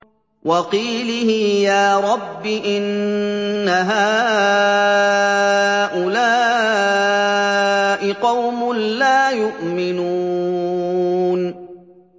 وَقِيلِهِ يَا رَبِّ إِنَّ هَٰؤُلَاءِ قَوْمٌ لَّا يُؤْمِنُونَ